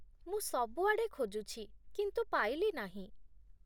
ମୁଁ ସବୁଆଡ଼େ ଖୋଜୁଛି, କିନ୍ତୁ ପାଇଲି ନାହିଁ ।